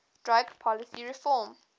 drug policy reform